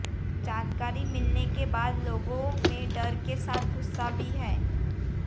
जानकारी मिलने के बाद लोगों में डर के साथ गुस्सा भी है